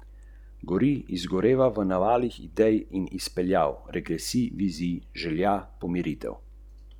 Votel je to potrdil: 'Eno od področij, na katerem nismo najuspešnejši, je spopadanje z ideologijo.